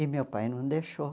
E meu pai não deixou.